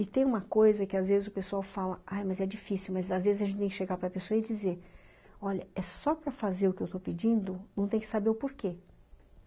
E tem uma coisa que às vezes o pessoal fala, ah, mas é difícil, mas às vezes a gente tem que chegar para pessoa e dizer, olha, é só para fazer o que eu estou pedindo, não tem que saber o porquê.